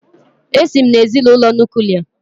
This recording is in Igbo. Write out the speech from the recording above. Èsi m n'ezinụlọ Nuklià